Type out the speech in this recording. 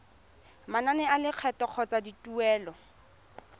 manane a lekgetho kgotsa dituelo